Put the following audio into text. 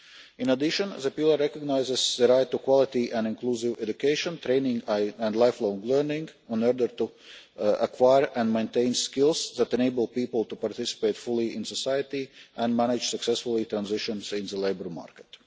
In addition, the Pillar recognises the right to quality and inclusive education, training and lifelong learning, in order to acquire and maintain skills that enable people to participate fully in society and manage successfully the transition into the labour market.